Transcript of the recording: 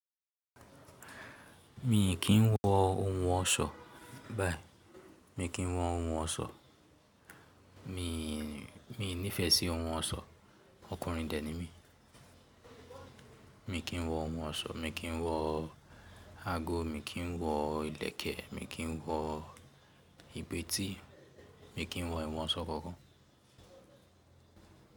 Mi kì í wọ ohun ọ̀ṣọ́, báyìí mi kì í wọ ohun ọ̀ṣọ́. Mi, mi nífẹ̀ẹ́ sí ohun ọ̀ṣọ́, ọkùnrin dẹ̀ ni mí. Mi kì í wọ ohun ọ̀ṣọ́, mi kì í wọ ago, mi kì í wọ ìlẹ̀kẹ̀, mi kì í wọ ìbiti mi kì í wọ ìwọ̀n ọ̀ṣọ́ kankan.